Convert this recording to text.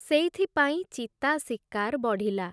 ସେଇଥିପାଇଁ ଚିତା ଶିକାର୍ ବଢ଼ିଲା ।